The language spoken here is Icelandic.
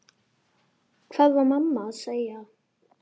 Hvað var mamma að segja?